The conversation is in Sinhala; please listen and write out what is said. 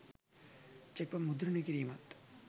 චෙක්පත් මුද්‍රණය කිරීමත්